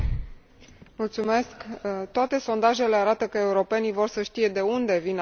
Toate sondajele arată că europenii vor să știe de unde vin alimentele pe care le consumă.